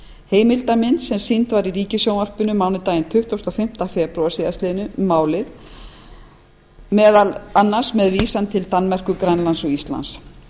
heimildamynd sem sýnd var í ríkissjónvarpinu mánudaginn tuttugasta og fimmta febrúar síðastliðinn fjallaði meðal annars um málið með vísan til danmerkur grænlands og íslands